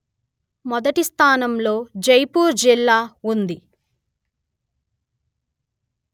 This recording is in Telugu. మొదటి స్థానంలో జైపూర్ జిల్లా ఉంది